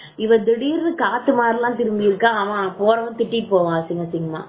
left இவன் திடீர்னு காத்த மாதிரி எல்லாம் திரும்பி இருக்கா அவன் போறவன் திட்டிட்டு போவான் அசிங்க அசிங்கமா